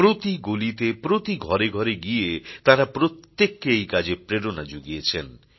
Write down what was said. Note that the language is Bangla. প্রতি গলিতে প্রতি ঘরে ঘরে গিয়ে তাঁরা প্রত্যেককে এই কাজে প্রেরণা জুগিয়েছেন